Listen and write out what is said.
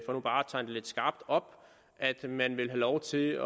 lidt skarpt op at man vil have lov til